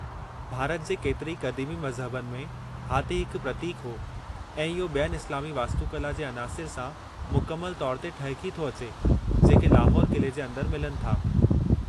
भारत जे केतिरे ई क़दीमी मज़हबनि में हाथी हिकु प्रतीकु हो, ऐं इहो ॿियनि इस्लामी वास्तुकला जे अनासिर सां मुकमल तौर ते ठहिकी थो अचे, जेके लाहौर क़िले जे अंदरि मिलनि था।